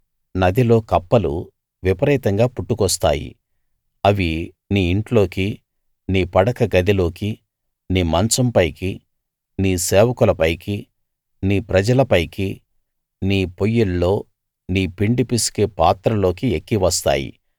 నదిలో కప్పలు విపరీతంగా పుట్టుకొస్తాయి అవి నీ ఇంట్లోకి నీ పడక గదిలోకి నీ మంచం పైకి నీ సేవకుల పైకి నీ ప్రజల పైకి నీ పొయ్యిల్లో నీ పిండి పిసికే పాత్రల్లోకి ఎక్కివస్తాయి